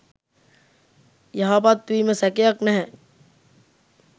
යහපත් වීම සැකයක් නැහැ.